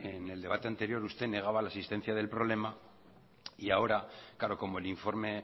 en el debate anterior usted negaba la existencia del problema y ahora claro como el informe